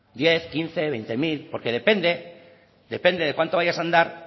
diez hamabost hogei mila porque depende depende de cuánto vayas a andar